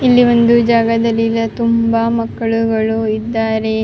ಇಲ್ಲಿ ಒಂದು ಜಾಗದಲ್ಲಿ ಎಲ್ಲಾ ತುಂಬಾ ಮಕ್ಕಳು ಇದ್ದಾರೆ --